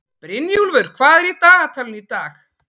Brynjúlfur, hvað er í dagatalinu í dag?